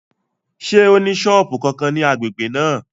Ṣé ó ní sọ́ọ̀bù kankan ní agbègbè náà?